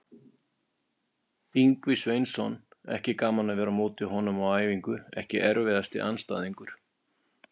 Ingvi Sveinsson, ekki gaman að vera á móti honum á æfingu EKKI erfiðasti andstæðingur?